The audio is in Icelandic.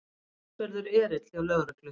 Talsverður erill hjá lögreglu